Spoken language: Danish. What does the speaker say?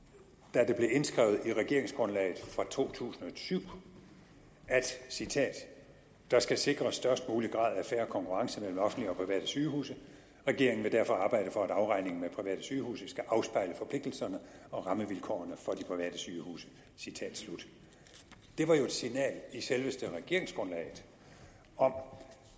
da det blev indskrevet i regeringsgrundlaget fra to tusind og syv at der skal sikres størst mulig grad af fair konkurrence mellem offentlige og private sygehuse regeringen vil derfor arbejde for at afregningen med private sygehuse skal afspejle forpligtelserne og rammevilkårene for de private sygehuse det var jo et signal i selveste regeringsgrundlaget om